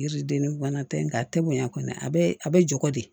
Yiriden ni bana tɛ nga a tɛ bonya kɔni a bɛ a bɛ jogo de